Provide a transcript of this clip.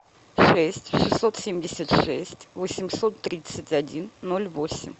шесть шестьсот семьдесят шесть восемьсот тридцать один ноль восемь